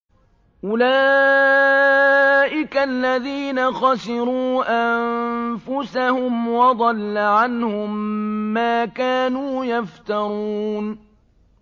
أُولَٰئِكَ الَّذِينَ خَسِرُوا أَنفُسَهُمْ وَضَلَّ عَنْهُم مَّا كَانُوا يَفْتَرُونَ